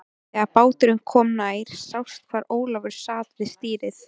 Þegar báturinn kom nær sást hvar Ólafur sat við stýrið.